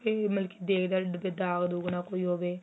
ਤੇ ਮਲਕਿ ਦੇਖਦੇ ਦਾਂਗ ਦੁਗ ਨਾ ਕੋਈ ਹੋਵੇ